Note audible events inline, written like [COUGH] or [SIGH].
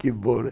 Que bom, né? [LAUGHS]